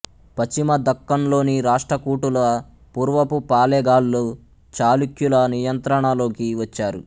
పశ్చిమ దక్కన్లోని రాష్ట్రకూటుల పూర్వపు పాళెగాళ్ళు చాళుక్యుల నియంత్రణలోకి వచ్చారు